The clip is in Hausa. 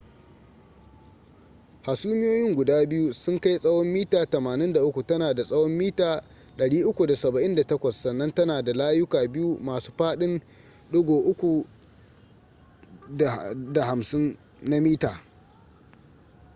hasumiyoyin guda biyu sun kai tsawon mita 83 tana da tsawon mita 378 sannan tana da layuka biyu masu faɗin 3.50 m